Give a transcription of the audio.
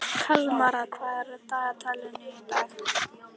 Kalmara, hvað er á dagatalinu í dag?